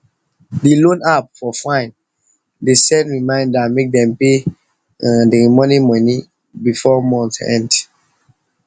d loan app for fine de send reminder make dem pay um the remaining money before month end